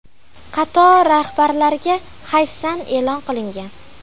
Qator rahbarlarga hayfsan e’lon qilingan.